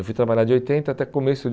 Eu fui trabalhar de oitenta até começo de